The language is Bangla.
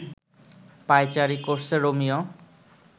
পায়চারি করছে রোমিও